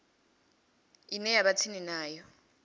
ine ya vha tsini navho